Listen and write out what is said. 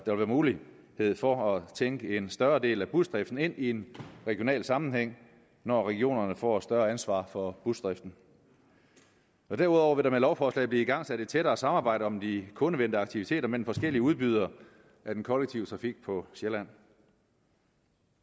mulighed for at tænke en større del af busdriften ind i en regional sammenhæng når regionerne får et større ansvar for busdriften derudover vil der med lovforslaget blive igangsat et tættere samarbejde om de kundevendte aktiviteter mellem forskellige udbydere af den kollektive trafik på sjælland